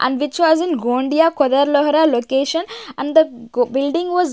And which was in Gondia Kodelohara location and the g building was --